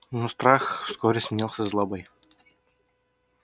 но страх вскоре сменился злобой